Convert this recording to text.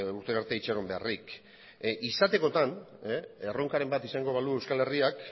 urtera arte itxaron beharrik izatekotan erronkaren bat izango balu euskal herriak